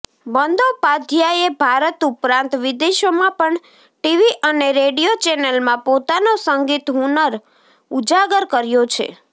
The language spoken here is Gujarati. બંદોપાધ્યાયે ભારત ઉપરાંત વિદેશોમાં પણ ટીવી અને રેડિયો ચેનલમાં પોતાનો સંગીત હુનર ઉજાગર કર્યો છે